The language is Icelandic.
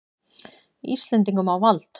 Íslendingum á vald.